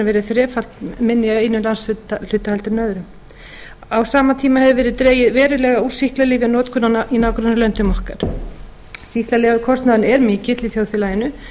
verið þrefalt minni í einum landshluta heldur en öðrum á sama tíma hefur meiri dregið verulega úr sýklalyfjanotkun í nágrannalöndum okkar sýklalyfjakostnaðurinn er mikill í þjóðfélaginu